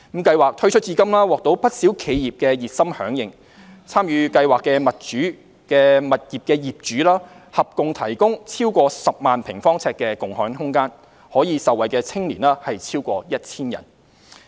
計劃推出至今獲不少企業熱心響應，參與計劃的物業業主合共提供超過10萬平方呎的共享空間，可受惠的青年超過 1,000 人。